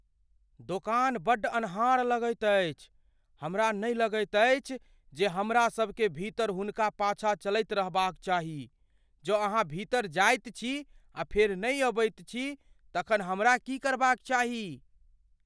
दोकान बड्ड अन्हार लगैत अछि। हमरा नहि लगैत अछि जे हमरासभकेँ भीतर हुनका पाछा चलैत रहबाक चाही। जँ अहाँ भीतर जाइत छी आ फेर नहि अबैत छी तखन हमरा की करबाक चाही?